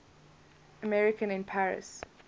american in paris